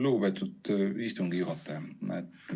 Lugupeetud istungi juhataja!